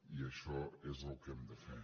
i això és el que hem de fer